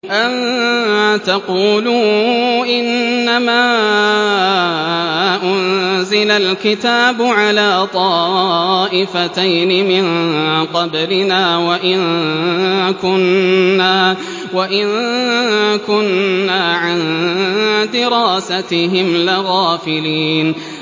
أَن تَقُولُوا إِنَّمَا أُنزِلَ الْكِتَابُ عَلَىٰ طَائِفَتَيْنِ مِن قَبْلِنَا وَإِن كُنَّا عَن دِرَاسَتِهِمْ لَغَافِلِينَ